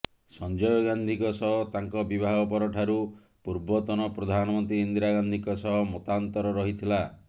ସଂଜୟ ଗାନ୍ଧିଙ୍କ ସହ ତାଙ୍କ ବିବାହ ପରଠାରୁ ପୂର୍ବତନ ପ୍ରଧାନମନ୍ତ୍ରୀ ଇନ୍ଦିରାଗାନ୍ଧୀଙ୍କ ସହ ମତାନ୍ତର ରହିଥିଲା